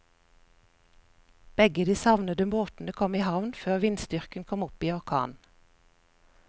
Begge de savnede båtene kom i havn før vindstyrken kom opp i orkan.